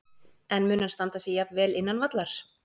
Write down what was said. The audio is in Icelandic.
En mun hann standa sig jafn vel innan vallar?